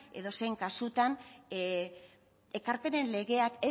edozein kasutan ekarpenen legeak